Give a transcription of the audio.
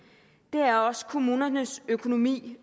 er også kommunernes økonomi